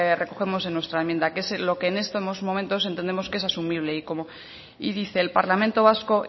recogemos en nuestra enmienda que es lo que en estos momentos entendemos que es asumible y dice el parlamento vasco